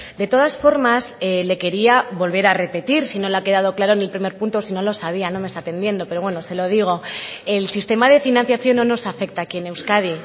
de todas formas le quería volver a repetir si no le ha quedado claro en el primer punto o si no lo sabía no me está atendiendo pero bueno se lo digo el sistema de financiación no nos afecta aquí en euskadi